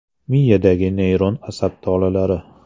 Miyadagi neyron asab tolalari.